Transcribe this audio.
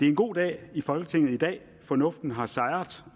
en god dag i folketinget fornuften har sejret